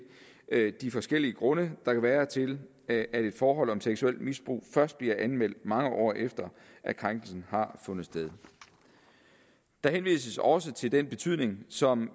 de forskellige grunde der kan være til at at et forhold om seksuelt misbrug først bliver anmeldt mange år efter at krænkelsen har fundet sted der henvises også til den betydning som